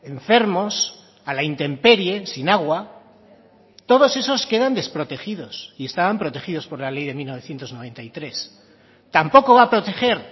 enfermos a la intemperie sin agua todos esos quedan desprotegidos y estaban protegidos por la ley de mil novecientos noventa y tres tampoco va a proteger